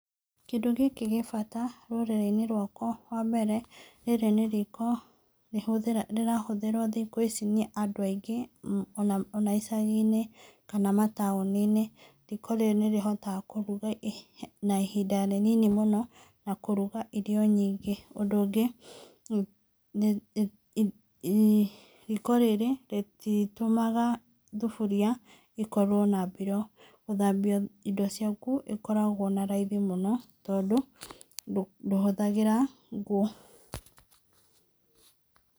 Kĩndũ gĩkĩ gĩ bata rũrĩrĩ-inĩ rwakwa. Wa mbere rĩrĩ nĩ riko rĩrahũthĩrwo thikũ ici nĩ andũ aingĩ ona icaginĩ kana mataũninĩ. Riko rĩrĩ nĩrĩhotaga kũruga na ihinda rĩnini mũno na kũruga irio nyingĩ. Ũndũ ũngĩ, riko rĩrĩ rĩtitũmaga thuburia ikorwo na mbiro. Gũthambia indo ciaku ĩkoragwo na raithi mũno tondũ ndũhũthagĩra ngũ.